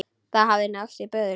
Það hafði náðst í böðul.